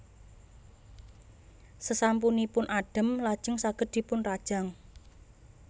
Sasampunipun adhem lajeng saged dipunrajang